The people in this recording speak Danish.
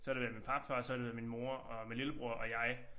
Så har det været min papfar så har det været min mor og min lillebror og jeg